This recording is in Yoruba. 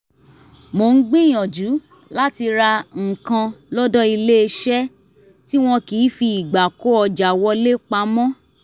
mo ń gbìyànjú láti ra nǹkan lọ́dọ̀ iléeṣẹ́ tí wọn kì í fi ìgbà kó ọjà wọlé pamọ́